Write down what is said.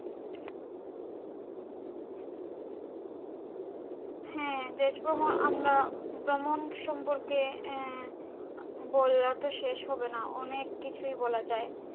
হ্যাঁ দেশ ভ্রমণ আমরা ভ্রমণ সম্পর্কে আহ বলে তো শেষ হবে না আহ অনেক কিছুই বলা যাই,